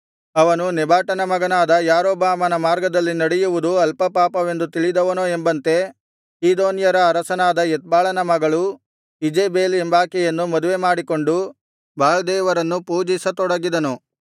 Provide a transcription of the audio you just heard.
ಅವನು ನೆಬಾಟನ ಮಗನಾದ ಯಾರೊಬ್ಬಾಮನ ಮಾರ್ಗದಲ್ಲಿ ನಡೆಯುವುದು ಅಲ್ಪ ಪಾಪವೆಂದು ತಿಳಿದವನೋ ಎಂಬಂತೆ ಚೀದೋನ್ಯರ ಅರಸನಾದ ಎತ್ಬಾಳನ ಮಗಳು ಈಜೆಬೆಲ್ ಎಂಬಾಕೆಯನ್ನು ಮದುವೆಮಾಡಿಕೊಂಡು ಬಾಳ್ ದೇವರನ್ನು ಪೂಜಿಸತೊಡಗಿದನು